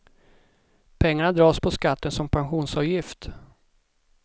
Pengarna dras på skatten som pensionsavgift.